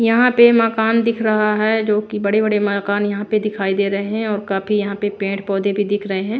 यहाँ पे मकान दिख रहा है जो कि बड़े-बड़े मकान यहाँ पे दिखाई दे रहे हैं और काफी यहाँ पे पेड़-पौधे भी दिख रहे हैं।